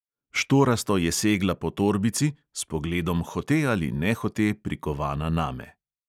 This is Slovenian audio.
Štorasto je segla po torbici, s pogledom hote ali nehote prikovana name.